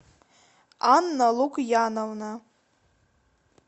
анна лукьяновна